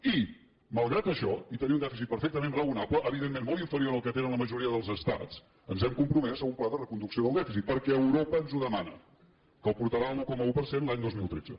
i malgrat això i tenir un dèficit perfectament raonable evidentment molt inferior al que tenen la majoria dels estats ens hem compromès a un pla de reconducció del dèficit perquè europa ens ho demana que el portarà a l’un coma un per cent l’any dos mil tretze